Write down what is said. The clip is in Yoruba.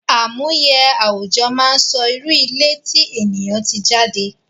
Àmúye àwùjọ máa ń sọ irú ilé tí ènìyàn tí jade